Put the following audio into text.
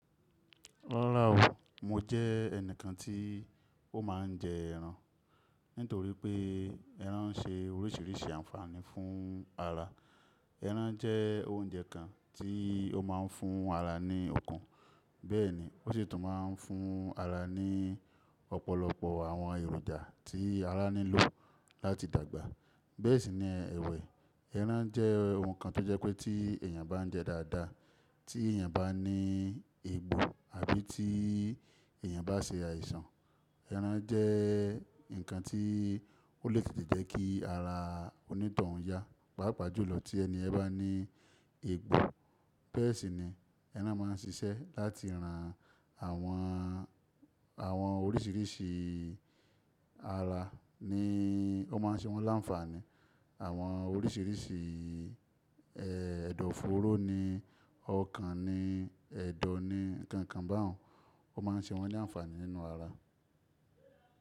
Rárá o, mo jẹ́ ẹnìkan tí ó máa ń jẹ ẹran. Nítorí pé ẹran ń ṣe oríṣiríṣi àǹfààní fún ara. Ẹran jẹ́ oúnjẹ kan tí ó máa ń fún ara ní okun. Bẹ́ẹ̀ ni, ó sì tún máa ń fún ara ní ọ̀pọ̀lọpọ̀ àwọn èròjà tí ara nílò láti dàgbà. Bẹ́ẹ̀ sì ni ẹwẹ̀, ẹran jẹ́ ohun kan tó jẹ́ pé tí èèyàn bá ń jẹ dáadáa, tí èèyàn bá ní egbò àbí tí èèyàn bá ṣe àìsàn, ẹran jẹ́ nǹkan tí ó lè tètè jẹ́ kí ara onítoun ya. Pápàjúlọ tí ẹni ẹ bá ní egbò. Bẹ́ẹ̀ sì ni ẹran máa ń ṣiṣẹ́ láti ran àwọn, àwọn oríṣiríṣi ara ni ó máa ń ṣe wọ́n láǹfààní. Àwọn oríṣiríṣi, ẹ́, ẹ̀dọ̀fóró ni, ọkàn ni, ẹ̀dọ̀ ni, nǹkan kan bá òun, ó máa ń ṣe wọ́n láǹfààní nínú ara.